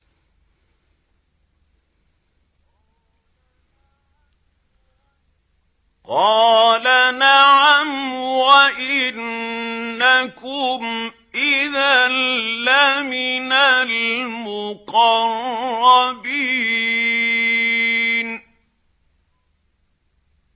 قَالَ نَعَمْ وَإِنَّكُمْ إِذًا لَّمِنَ الْمُقَرَّبِينَ